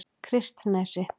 Kristnesi